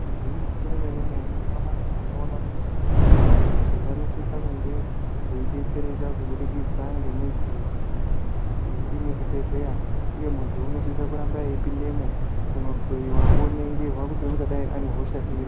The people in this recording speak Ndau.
Gwinyiso remene mene nyamashi tinoona kuti vanthu njee vanosisa kunge veidetsereka kubudikidza ngemidziyo iyo iri muzvibhedhleya uye munthu unosise kuramba eipindemo kunohloyiwa oningirwa kuti ungadai ane hosha iri.